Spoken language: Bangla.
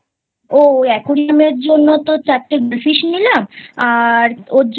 ওই Aquarium এর জন্য তো চারটে Goldfish নিলাম আর ওর জন্য